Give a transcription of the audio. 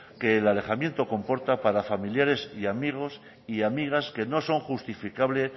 que el alejamiento comporta para familiares y amigos y amigas que no son justificables